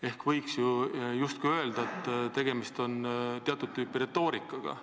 Ehk võiks justkui öelda, et tegemist on teatud tüüpi retoorikaga.